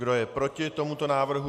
Kdo je proti tomuto návrhu?